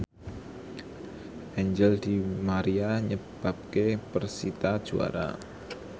Angel di Maria nyebabke persita juara